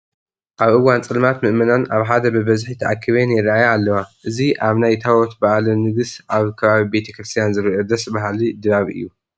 ኣብ እዋን ፀልማት ምእመናንን ኣብ ሓደ ብበዝሒ ተኣኪበን ይርአያ ኣለዋ፡፡ እዚ ኣብ ናይ ታቦት በዓለ ንግስ ኣብ ከባቢ ቤተ ክርስቲያን ዝርአ ደስ በሃሊ ድባብ እዩ፡፡